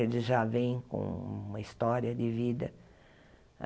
Eles já vêm com uma história de vida.